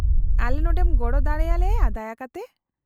-ᱟᱞᱮ ᱱᱚᱸᱰᱮᱢ ᱜᱚᱲᱚ ᱫᱟᱲᱮ ᱟᱞᱮᱭᱟ ᱫᱟᱭᱟ ᱠᱟᱛᱮ ?